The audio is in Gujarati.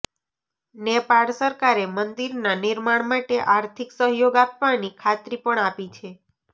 નેપાળ સરકારે મંદિરના નિર્માણ માટે આર્થિક સહયોગ આપવાની ખાતરી પણ આપી છે